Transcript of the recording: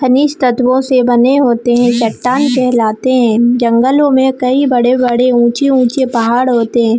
खनिज तत्वों से बने होते है चट्टान कहलाते है जंगलो में कई बड़े-बड़े ऊँचे-ऊँचे पहाड़ होते है।